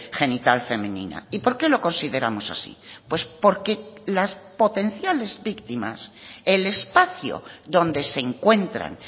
genital femenina y por qué lo consideramos así pues porque las potenciales víctimas el espacio donde se encuentran